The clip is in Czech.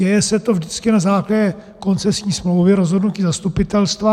Děje se to vždycky na základě koncesní smlouvy rozhodnutím zastupitelstva.